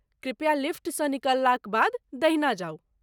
कृपया, लिफ्ट सँ निकललाक बाद दहिना जाउ।